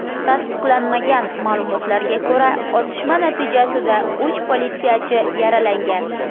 Tasdiqlanmagan ma’lumotlarga ko‘ra, otishma natijasida uch politsiyachi yaralangan.